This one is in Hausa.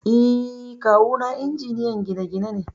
Eh, Kawu na injiniyan gine-gine ne.